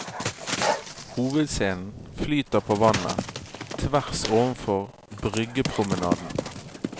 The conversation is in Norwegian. Hovedscenen flyter på vannet, tvers overfor bryggepromenaden.